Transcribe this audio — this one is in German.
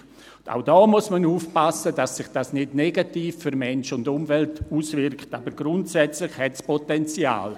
Auch hier muss man aufpassen, dass sich dies nicht negativ für Mensch und Umwelt auswirkt, aber grundsätzlich hat es Potenzial.